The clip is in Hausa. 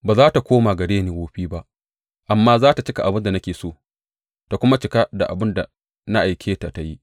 Ba za tă koma gare ni wofi ba, amma za tă cika abin da nake so ta kuma cika abin da na aike ta tă yi.